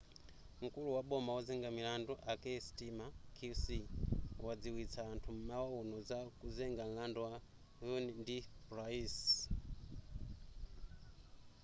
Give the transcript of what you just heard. mkulu waboma ozenga milandu a kier starmer qc wadziwitsa anthu m'mawa uno za kuzenga mlandu a huhne ndi pryce